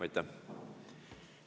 Aitäh!